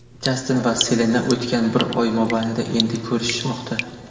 Jastin va Selena o‘tgan bir oy mobaynida endi ko‘rishishmoqda.